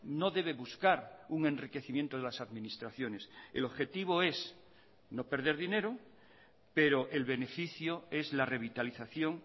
no debe buscar un enriquecimiento de las administraciones el objetivo es no perder dinero pero el beneficio es la revitalización